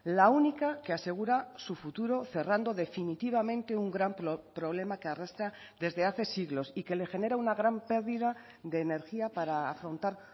la única que asegura su futuro cerrando definitivamente un gran problema que arrastra desde hace siglos y que le genera una gran pérdida de energía para afrontar